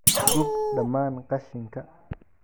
Gub dhammaan qashinka.